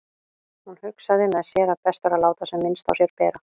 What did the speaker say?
Hún hugsaði með sér að best væri að láta sem minnst á sér bera.